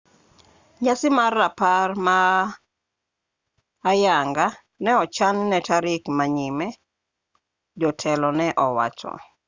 nyasi mar rapar ma ayanga ne ochan ne tarik ma nyime jotelo ne owacho